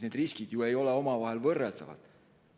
Need riskid ei ole ju võrreldavad.